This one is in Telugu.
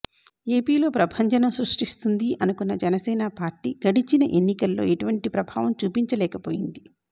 ఏపీలో ప్రభంజనం సృష్టిస్తుంది అనుకున్న జనసేన పార్టీ గడచిన ఎన్నికల్లో ఎటువంటి ప్రభావం చూపించలేకపోయింది